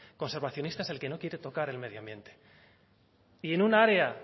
conservacionistas el que no quiere tocar el medio ambiente y en un área